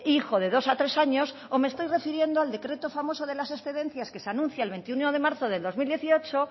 hijo de dos a tres años o me estoy refiriendo al decreto famoso de las excedencias que se anuncia el veintiuno de marzo del dos mil dieciocho